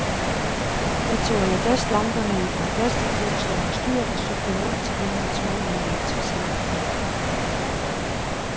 Jeg tog alabastlamperne i et par plastikposer over styret og cyklede rundt til dem, jeg troede ville være interesseret.